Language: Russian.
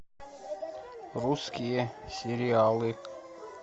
русские сериалы